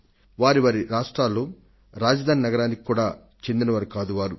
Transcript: వారి కనీసం వారి వారి రాఫ్ట్రాల రాజధాని నగరాలకు చెందిన వారయినా కాదు